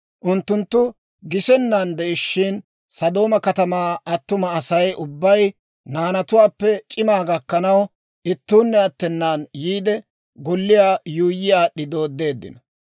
Unttunttu gisennan de'ishshin, Sodooma katamaa attuma Asay ubbay, naanatuwaappe c'imaa gakkanaw, ittuunne attenaan yiide, golliyaa yuuyyi aad'd'i dooddeeddino.